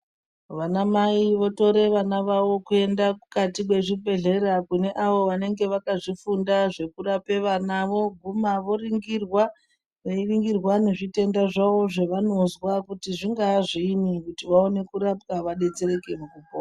Vanamai votore vana vavo kuende mukati mwezvibhedhlera kune avo vanenge vakazvifunda zvekurape vana, voguma voringirwa veiringirwa, nezvitenda zvavo zvevanozwa kuti zvingaa zviini kuti vaone kurapwa, vadetsereke mukupona.